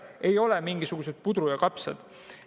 Ei ole mingisugune puder ja kapsad.